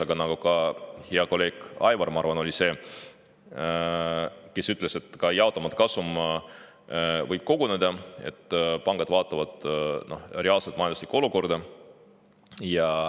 Aga nagu hea kolleeg Aivar – ma arvan, et tema see oli – ütles, ka jaotamata kasum võib koguneda ja pangad vaatavad reaalset majanduslikku olukorda.